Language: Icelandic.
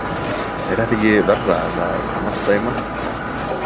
Er þetta ekki verra en að narta í mann?